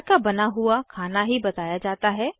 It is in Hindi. घर का बना हुआ खाना ही बताया जाता है